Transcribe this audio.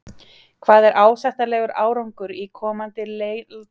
Hvað er ásættanlegur árangur í komandi landsleikjum gegn Albaníu og Sviss?